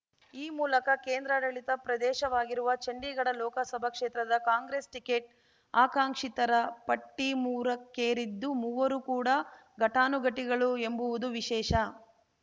ಈ ಮೂಲಕ ಕೇಂದ್ರಾಡಳಿತ ಪ್ರದೇಶವಾಗಿರುವ ಚಂಡೀಗಢ ಲೋಕಸಭಾ ಕ್ಷೇತ್ರದ ಕಾಂಗ್ರೆಸ್‌ ಟಿಕೆಟ್‌ ಆಕಾಂಕ್ಷಿತರ ಪಟ್ಟಿಮೂರಕ್ಕೇರಿದ್ದು ಮೂವರೂ ಕೂಡ ಘಟಾನುಘಟಿಗಳು ಎಂಬುವುದು ವಿಶೇಷ